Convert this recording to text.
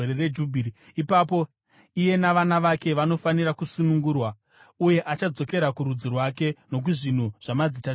Ipapo iye navana vake vanofanira kusunungurwa, uye achadzokera kurudzi rwake nokuzvinhu zvamadzitateguru ake.